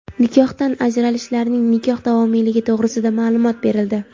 Nikohdan ajralishlarning nikoh davomiyligi to‘g‘risida maʼlumot berildi.